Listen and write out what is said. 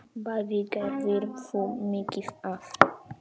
Bæði gerðir þú mikið af.